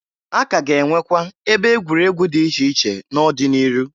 A ka a ga enwekwa ebe egwuregwu di iche iche n'ọdị n'iru.